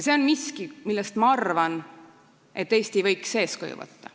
See on miski, millest, ma arvan, Eesti võiks eeskuju võtta.